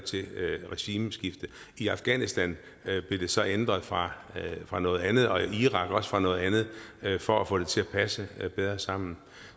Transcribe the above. regimeskifte i afghanistan blev det så ændret fra fra noget andet og i irak også fra noget andet for at få det til at passe bedre sammen